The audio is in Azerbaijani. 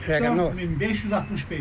4565.